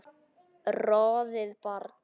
roðið brann